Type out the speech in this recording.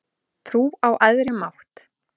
Trú á æðri mátt